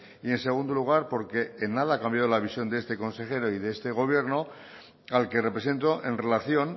y en segundo lugar porque en nada ha cambiado la visión de este consejero y de este gobierno al que represento en relación